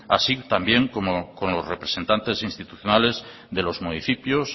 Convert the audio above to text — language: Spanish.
así también como con los representantes institucionales de los municipios